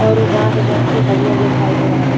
आउरु बास जोवन की हरियर दिखाई दे रहल बा।